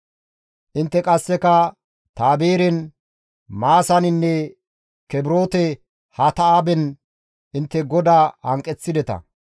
Intte qasseka Tabeeren, Maasaninne Kibroote-Hatta7aaben intte GODAA hanqeththideta.